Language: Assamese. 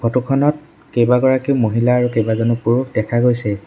ফটো খনত কেইবাগৰাকী মহিলা আৰু কেইবাজনো পুৰুষ দেখা গৈছে।